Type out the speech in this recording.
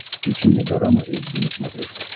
включи мне дорама эйч ди на смотрешке